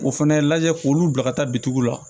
O fana lajɛ k'olu bila ka taa bitigiw la